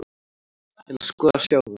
Ég ætla sko að sjá það.